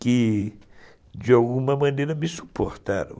que, de alguma maneira, me suportaram.